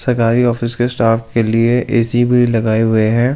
सरकारी ऑफिस के स्टाफ के लिए ऐसी भी लगाई हुए है और --